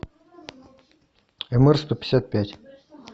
мр сто пятьдесят пять